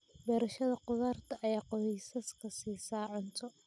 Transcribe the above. Beerashada khudaarta ayaa qoysaska siisa cunto.